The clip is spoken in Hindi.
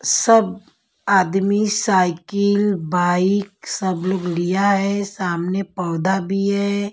सब आदमी साइकिल बाइक सब लोग लिया है सामने पौधा भी है।